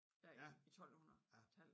Der i i 1200 tallet